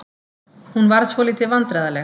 Hún varð svolítið vandræðaleg.